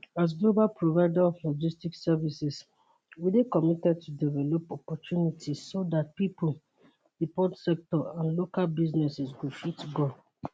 as global provider of logistics services we dey committed to develop opportunities so dat pipo di port sector and local businesses go fit grow